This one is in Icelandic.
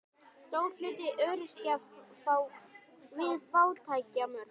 Stór hluti öryrkja við fátæktarmörk